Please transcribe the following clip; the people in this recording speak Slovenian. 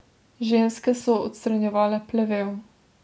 Ženske so odstranjevale plevel.